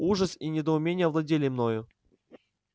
ужас и недоумение овладели мною